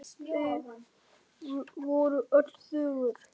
Þau voru öll þögul.